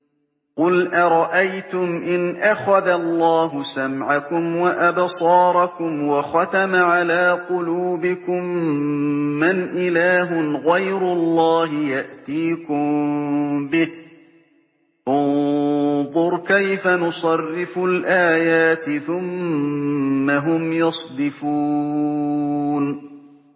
قُلْ أَرَأَيْتُمْ إِنْ أَخَذَ اللَّهُ سَمْعَكُمْ وَأَبْصَارَكُمْ وَخَتَمَ عَلَىٰ قُلُوبِكُم مَّنْ إِلَٰهٌ غَيْرُ اللَّهِ يَأْتِيكُم بِهِ ۗ انظُرْ كَيْفَ نُصَرِّفُ الْآيَاتِ ثُمَّ هُمْ يَصْدِفُونَ